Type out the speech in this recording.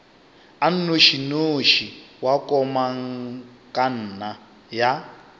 a nnošinoši wa komangkanna ya